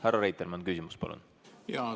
Härra Reitelmann, küsimus, palun!